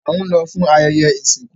A n lọ fún ayẹyẹ isinku